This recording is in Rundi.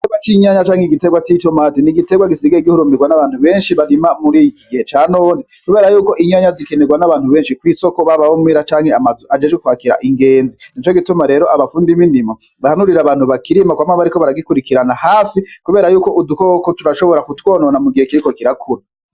Igitegwa c'inyanya canke igitegwa c'itomate n'igitegwa gisigaye gihurumbigwa nabantu benshi barima muri ikigihe ca none kuberayuko inyanya zikenerwa n'abantu benshi kw'isoko baba abo muhira canke amazu ajejwe kwakira ingenzi nico gituma rero abafundi bindimo bahanurira abantu bakirima kwama bariko baragikwirikiranira hafi kuberayuko udukoko turashobora kutwonona mugihe kiriko kirakura.